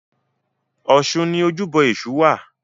Ọ̀ṣun ni ojúbọ Èṣù wà.